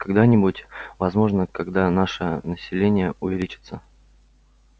когда-нибудь возможно когда наше население увеличится